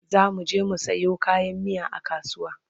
zamuje mu Sayo kayan miya a kasuwa